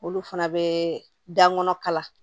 Olu fana bɛ dan kɔnɔ kala